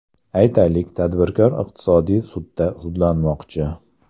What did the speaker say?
Aytaylik, tadbirkor iqtisodiy sudda sudlashmoqchi.